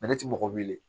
Ale ti mɔgɔ wele